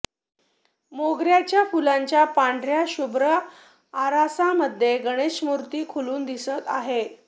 मोगर्याच्या फुलांच्या पांढर्या शुभ्र आरासामध्ये गणेशमूर्ती खुलून दिसत आहे